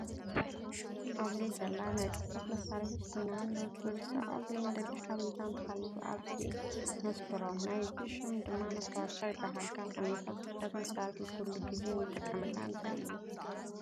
ኣብዚ ዘላ ናይ ፅሕፈት መሳሪሒት ኮይና ንክርሰዖ ዘይንደሊ ሓበሬታ እንተሃሊዩ ኣብዙይ ነስፍሮ። ናይዚ ሽም ድማ መስታወሻ ትበሃል። ካብ ዓይነታት ፅሕፈት መሳርሒ ኩሉ ግዜ እትጥቀሙላ እንታይ እዩ?